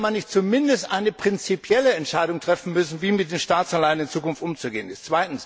Hätte man nicht zumindest eine prinzipielle Entscheidung treffen müssen, wie mit den Staatsanleihen in Zukunft umzugehen ist?